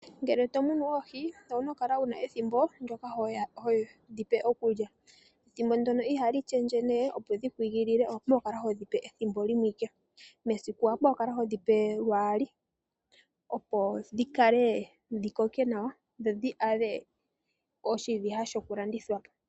Ngele to munu oohi owu na okukala wu na ethimbo ndyoka hodhi pe okulya. Ethimbo ndyoka ihali shendje, opo dhi igilile owu na okukala hodhi pe pethimbo limwe. Mesiku owa pumbwa okukala ho dhi pe lwaali, opo dhi koke nawa dho dhi adhe oshiviha shokulandithwa.